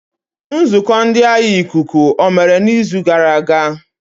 Nzukọ ndị agha ikuku omere n'izu gara aga?